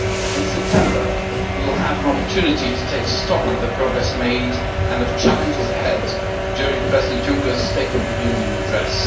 In September, we will have an opportunity to take stock of the progress made and of the challenges ahead during President Juncker's state of the union address.